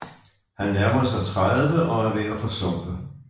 Han nærmer sig tredive og er ved at forsumpe